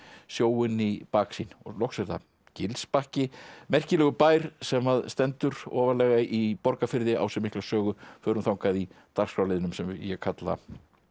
sjóinn í baksýn loks er það merkilegur bær sem að stendur ofarlega í Borgarfirði á sér mikla sögu förum þangað í dagskrárliðnum sem ég kalla